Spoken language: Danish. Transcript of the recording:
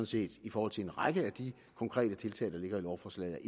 set i forhold til en række af de konkrete tiltag der ligger i lovforslaget